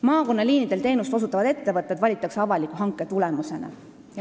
Maakonnaliinidel teenust osutavad ettevõtted valitakse avaliku hanke tulemusena.